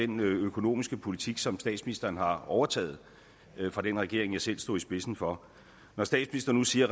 den økonomiske politik som statsministeren har overtaget fra den regering jeg selv stod i spidsen for når statsministeren nu siger